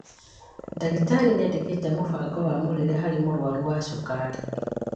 Ndagĩtarĩ nĩandĩkĩte mũbango wa mũrĩre harĩ mũrwaru wa cukari